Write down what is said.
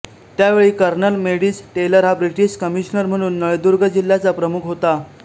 त्यावेळी colonel Meadows Taylor हा British commissioner म्हणून नळदुर्ग जिल्ह्याचा प्रमुख होता